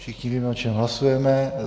Všichni víme, o čem hlasujeme.